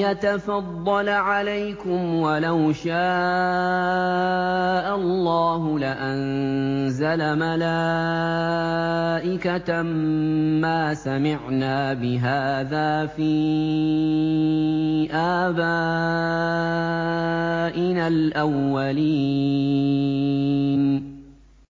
يَتَفَضَّلَ عَلَيْكُمْ وَلَوْ شَاءَ اللَّهُ لَأَنزَلَ مَلَائِكَةً مَّا سَمِعْنَا بِهَٰذَا فِي آبَائِنَا الْأَوَّلِينَ